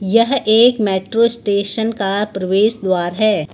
यह एक metro station का प्रवेश द्वार है।